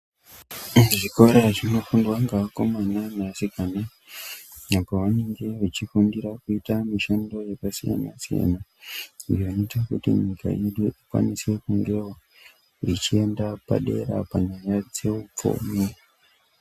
Zvikora zvinofundwa ngevakomana nevasikana apo vanenga vachifundira kuita mushando yakasiyana siyana zvinoita kuti nyika yedu ikwanise kungewo ichienda padera panyaya dzeupfumi.